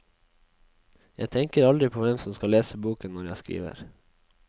Jeg tenker aldri på hvem som skal lese boken når jeg skriver.